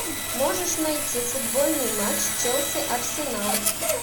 можешь найти футбольный матч челси арсенал